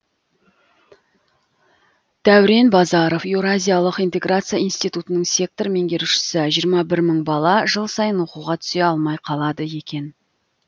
дәурен базаров еуразиялық интеграция институтының сектор меңгерушісі жиырма бір мың бала жыл сайын оқуға түсе алмай қалады екен